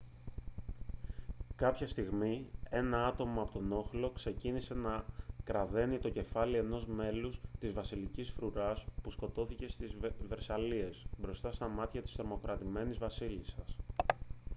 κάποια στιγμή ένα άτομο από τον όχλο ξεκίνησε να κραδαίνει το κεφάλι ενός μέλους της βασιλικής φρουράς που σκοτώθηκε στις βερσαλλίες μπροστά στα μάτια της τρομοκρατημένης βασίλισσας